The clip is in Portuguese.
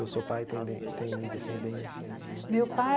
E o seu pai tem den tem descendência de meu pai.